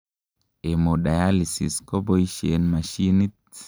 hemodialysis koboishen mashinit